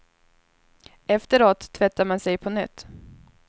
Efteråt tvättar man sig på nytt.